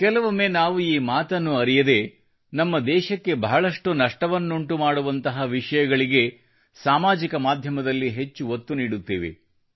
ಕೆಲವೊಮ್ಮೆ ನಾವು ಈ ಮಾತನ್ನು ಅರಿಯದೇ ನಮ್ಮ ದೇಶಕ್ಕೆ ಬಹಳಷ್ಟು ನಷ್ಟವನ್ನು ಉಂಟು ಮಾಡುವಂತಹ ವಿಷಯಗಳಿಗೆ ಸಾಮಾಜಿಕ ಮಾಧ್ಯಮದಲ್ಲಿ ಹೆಚ್ಚು ಒತ್ತು ನೀಡುತ್ತೇವೆ